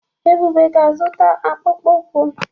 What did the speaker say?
Ebube ga-azụta akpụkpọ ụkwụ.